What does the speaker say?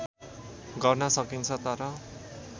गर्न सकिन्छ तर